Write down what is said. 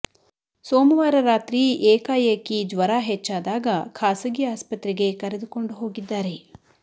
ಸೋಮವಾರ ರಾತ್ರಿ ಏಕಾಏಕಿ ಜ್ವರ ಹೆಚ್ಚಾದಾಗ ಖಾಸಗಿ ಆಸ್ಪತ್ರೆಗೆ ಕರೆದುಕೊಂಡು ಹೋಗಿದ್ದಾರೆ